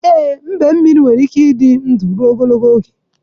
Ee, mbemmiri nwere ike ịdị ndụ ruo ogologo oge.